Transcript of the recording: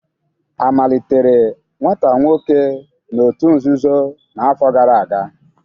A malitere nwata nwoke n'òtù nzuzo n'afọ gara aga?